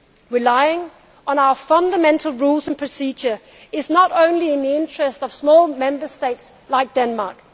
ever. Relying on our fundamental rules and procedures is not only in the interest of small Member States like